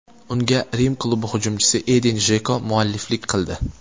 Unga Rim klubi hujumchisi Edin Jeko mualliflik qildi.